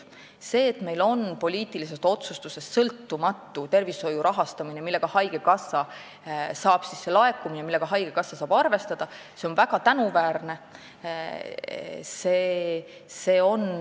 See, et meil on poliitilisest otsusest sõltumatu tervishoiu rahastamine, nii et haigekassa saab arvestada selle laekumisega, on väga tänuväärne.